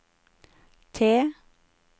T